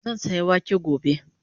Zan saya wake gobe